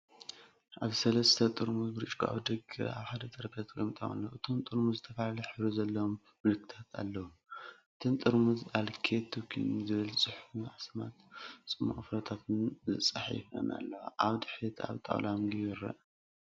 ኣብቲ ሰለስተ ጥርሙዝ ብርጭቆ ኣብ ደገ ኣብ ሓደ ጠረጴዛ ተቐሚጦም ኣለዉ። እቶም ጥርሙዝ ዝተፈላለየ ሕብሪ ዘለዎም ምልክታት ኣለዎም፤ ዎ። እተን ጥርሙዝ “ኣልኬሚ ቶኒክ” ዝብል ጽሑፍን ኣስማት ጽማቝ ፍረታትን ተጻሒፈን ኣለዋ። ኣብ ድሕሪት ኣብ ጣውላ ምግቢ ይርአ።